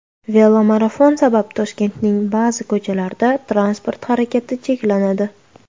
Velomarafon sabab Toshkentning ba’zi ko‘chalarida transport harakati cheklanadi.